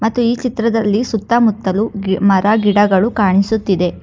ಮತ್ತು ಈ ಚಿತ್ರದಲ್ಲಿ ಸುತ್ತಮುತ್ತಲು ಗಿ ಮರ ಗಿಡಗಳು ಕಾಣಿಸುತ್ತಿದೆ.